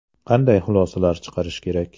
Qanday xulosalar chiqarish kerak?